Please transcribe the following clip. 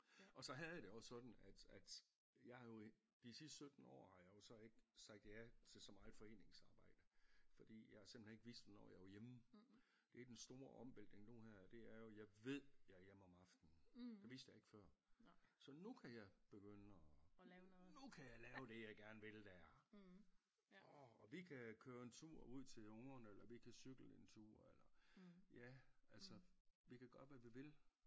Og så havde jeg det også sådan at at jeg har jo i de sidste 17 år har jeg jo så ikke sagt ja til så meget foreningsarbejde fordi jeg simpelthen ikke vidste hvornår jeg var hjemme det den store omvæltning nu her det er jo jeg ved jeg er hjemme om aftenen det vidste jeg ikke før så nu kan jeg begynde at nu kan jeg lave det jeg gerne vil der orh og vi kan køre en tur ud til ungerne eller vi kan cykle en tur eller ja altså vi kan gøre hvad vi vil